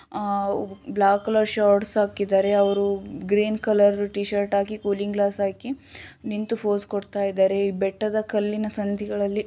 ಹಾ black shirts ಅಕಿದ್ದಾರೆ ಅವರು ಗ್ರೀನ್ ಕಲರ್ ಟೀ ಶರ್ಟ್ ಆಗಿ ಕೊಲ್ಲಿಂಗ್ ಗ್ಲಾಸ್ಸ್ ಆಕೀ ನಿಂತು ಪೋಸ್ ಕೂಡ್ತ ಇದ್ದಾರೆ ಬೆಟ್ಟದ ಕಲ್ಲಿನ ಸಂಧಿಗಳಲ್ಲಿ